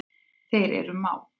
Þeir eru mát.